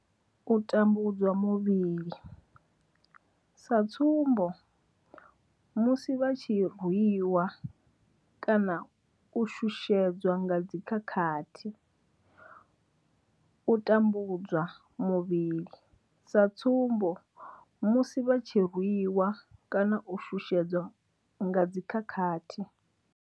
U tambudzwa muvhili sa tsumbo, musi vha tshi rwi wa kana u shushedzwa nga dzi khakhathi. U tambudzwa muvhili sa tsumbo, musi vha tshi rwi wa kana u shushedzwa nga dzi khakhathi.